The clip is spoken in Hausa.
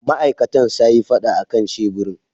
Ma'aikatan sayi fada akan sheburin.